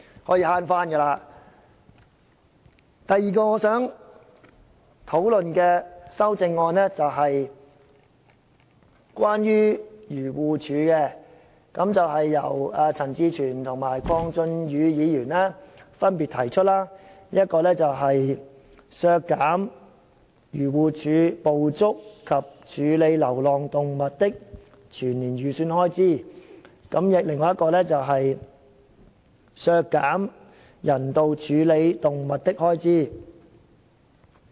我想討論的另外兩項修正案是關於漁農自然護理署的，分別由陳志全議員及鄺俊宇議員提出，一項旨在削減漁護署捕捉及處理流浪動物的全年預算開支，另一項則削減漁護署用於人道處理動物的開支。